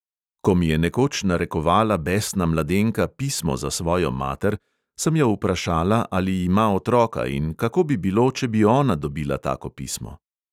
Ko mi je nekoč narekovala besna mladenka pismo za svojo mater, sem jo vprašala, ali ima otroka in kako bi bilo, če bi ona dobila tako pismo.